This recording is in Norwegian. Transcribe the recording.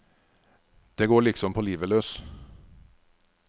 Det går likesom på livet løs.